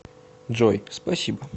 джой спасибо